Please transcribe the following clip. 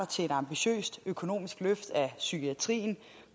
til et ambitiøst økonomisk løft af psykiatrien